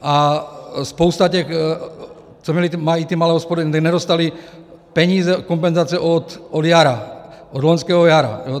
A spousta těch, co mají ty malé hospody, nedostali peníze, kompenzace od jara, od loňského jara.